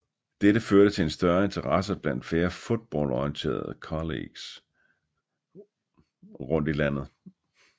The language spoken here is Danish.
Dette førte til en større interesse iblandt flere football orienterede colleges rundt i landet